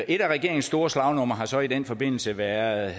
et af regeringens store slagnumre har jo så i den forbindelse været